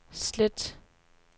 slet